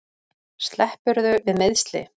Sleppurðu við meiðsli?